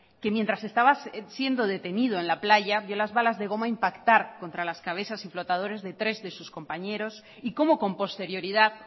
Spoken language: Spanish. que mientras estaba siendo detenido en la playa vio las bolas de goma impactar contra las cabezas y flotadores de tres de sus compañeros y cómo con posterioridad